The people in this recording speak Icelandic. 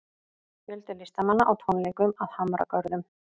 Fjöldi listamanna á tónleikum að Hamragörðum